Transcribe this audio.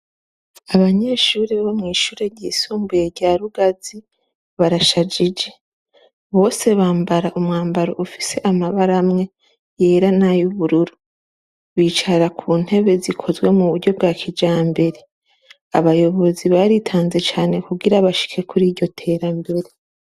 Abanyeshure bo mwishure ry'isumbuye rya rugazi, barashije bose bambara umwambaro ufite amabara amwe ayera, nay’ubururu, bicara kuntebe zikozwe muburyo bwa kijambere, abayobozi baritanze cane kugira bashike Kuri iryo terambere.